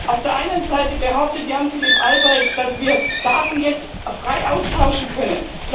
Auf der einen Seite behauptet Jan Philipp Albrecht, dass wir Daten jetzt frei austauschen können.